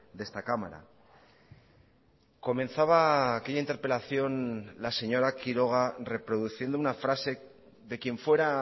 de esta cámara comenzaba aquella interpelación la señora quiroga reproduciendo una frase de quien fuera